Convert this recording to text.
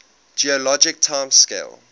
geologic time scale